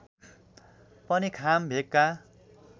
पनि खाम भेगका